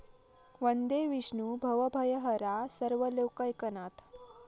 वंदे विष्णूं भवभयहरां सर्वलोकैकनाथं ।।